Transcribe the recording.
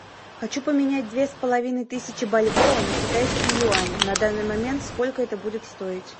хочу поменять две с половиной тысячи бальбоа на китайские юани на данный момент сколько это будет стоить